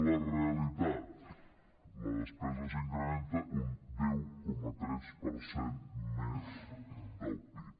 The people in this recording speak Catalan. la realitat la despesa s’incrementa un deu coma tres per cent més del pib